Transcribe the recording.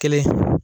Kelen